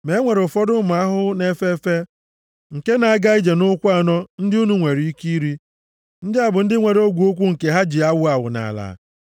Ma e nwere ụfọdụ ụmụ ahụhụ na-efe efe nke na-aga ije nʼụkwụ anọ ndị unu nwere ike iri: ndị a bụ ndị nwere ogwe ụkwụ nke ha ji na-awụ awụ nʼala,